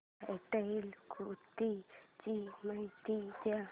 freestyle कुस्ती ची माहिती दे